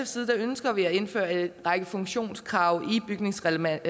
side ønsker vi at indføre en række funktionskrav i bygningsreglementet